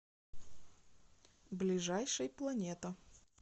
ближайший планета